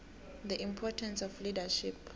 the importance of leadership